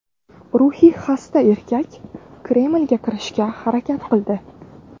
Ruhiy xasta erkak Kremlga kirishga harakat qildi.